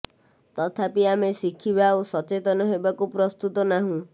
ତଥାପି ଆମେ ଶିଖିବା ଓ ସଚେତନ ହେବାକୁ ପ୍ରସ୍ତୁତ ନାହୁଁ